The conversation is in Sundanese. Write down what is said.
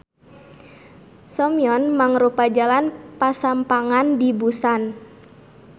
Seomyeon mangrupa jalan pasampangan di Busan.